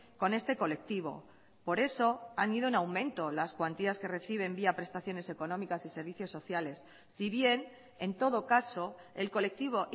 con este colectivo por eso han ido en aumento las cuantías que reciben vía prestaciones económicas y servicios sociales si bien en todo caso el colectivo